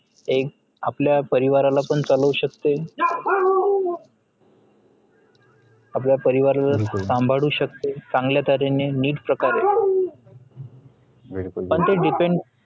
एक आपल्या परिवाराला पण चालवु शकते आपल्या परिवाराला सांभाळू शकते चांगल्या तर्हेने नीट प्रकारे पण ते depend